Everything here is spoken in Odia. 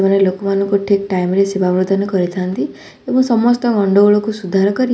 ଏମାନେ ଲୋକମାନଙ୍କୁ ଠିକ୍ ଟାଇମ ରେ ସେବା ପ୍ରଦାନ କରିଥାନ୍ତି ଏବଂ ସମସ୍ତ ଗଣ୍ଡଗୋଳକୁ ସୁଧାର କରି--